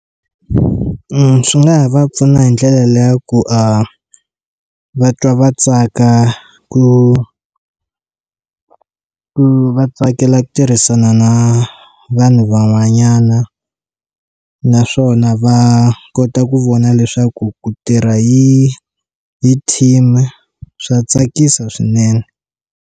Swi nga ha va pfuna hi ndlela liya ya ku va twa va tsaka ku ku va tsakela ku tirhisana na vanhu van'wanyana naswona va kota ku vona leswaku ku tirha hi hi team swa tsakisa swinene.